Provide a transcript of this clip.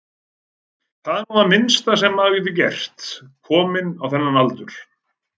Það er nú það minnsta sem maður getur gert, kominn á þennan aldur.